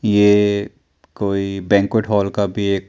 ये कोई banquet hall का भी ये--